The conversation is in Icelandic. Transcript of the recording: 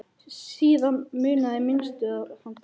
Síðan munaði minnstu að hann dæi.